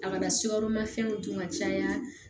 A kana sukaro ma fɛnw dun ka caya